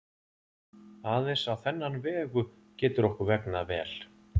Aðeins á þennan vegu getur okkur vegnað vel.